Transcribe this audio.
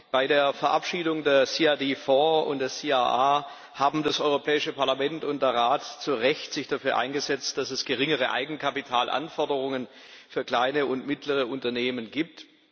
Bei der Verabschiedung der CRD IV und der CRR haben sich das Europäische Parlament und der Rat zu Recht dafür eingesetzt, dass es geringere Eigenkapitalanforderungen für kleine und mittlere Unternehmen gibt.